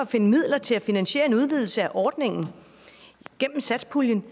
finde midler til at finansiere en udvidelse af ordningen gennem satspuljen